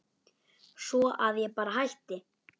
Svo að ég bara hætti.